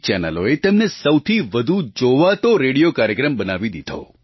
ચેનલોએ તેમને સૌથી વધુ જોવાતો રેડિયો કાર્યક્રમ બનાવી દીધો